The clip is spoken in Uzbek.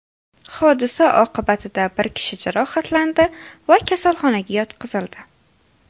Hodisa oqibatida bir kishi jarohatlandi va kasalxonaga yotqizildi.